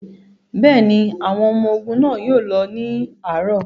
Bẹ́ẹ̀ ni, àwọn ọmọ ogun náà yóò lọ ní àárọ̀.